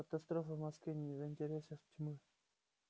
катастрофа в москве не в интересах тьмы